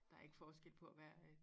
Der ikke forskel på at være øh